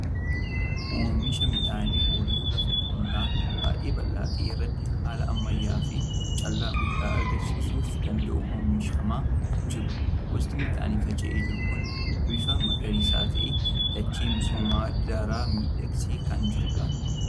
Oomisha midhaanii ooyiruu lafa qonnaa baay'ee bal'aa ta'e irratti haala ammayyaa fi callaa guddaa argamsiisuu danda'uun oomishamaa jiru. Gosti midhaanii faca'ee jiru kun bifa magariisa ta'een dachee misoomsee daran miidhagsee kan jirudha.